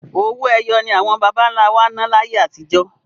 Owó ẹyọ ni àwọn bàbáńlá wá ná láyé atijọ́.